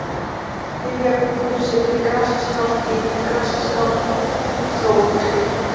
Giljabungur, Syðri-Grasaskál, Ytri-Grasaskál, Slóðholt